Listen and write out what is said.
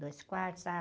Dois quartos, sala